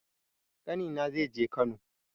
Ƙani na zai je Kano